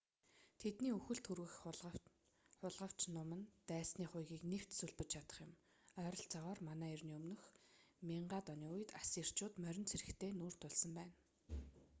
тэдний үхэлд хүргэх хулгавч нум нь дайсны хуягыг нэвт сүлбэж чадах юм ойролцоогоор мэө 1000-д оны үед ассирчууд морин цэрэгтэй нүүр тулсан байна